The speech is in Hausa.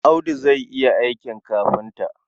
Audu zai yi aikin kafinta.